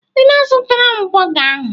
Ị na-azụtara m bọga ahụ?